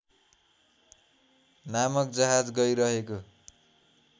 नामक जहाज गइरहेको